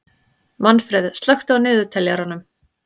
Manfreð, slökktu á niðurteljaranum.